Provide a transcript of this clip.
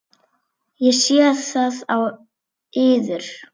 Ég sé það á yður.